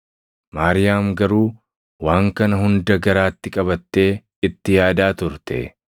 Maariyaam garuu waan kana hunda garaatti qabattee itti yaadaa turte.